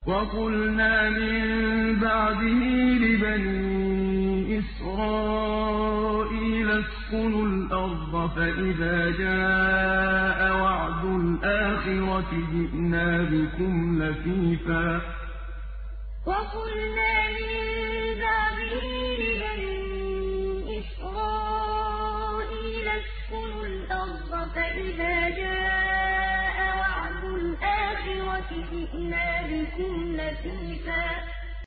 وَقُلْنَا مِن بَعْدِهِ لِبَنِي إِسْرَائِيلَ اسْكُنُوا الْأَرْضَ فَإِذَا جَاءَ وَعْدُ الْآخِرَةِ جِئْنَا بِكُمْ لَفِيفًا وَقُلْنَا مِن بَعْدِهِ لِبَنِي إِسْرَائِيلَ اسْكُنُوا الْأَرْضَ فَإِذَا جَاءَ وَعْدُ الْآخِرَةِ جِئْنَا بِكُمْ لَفِيفًا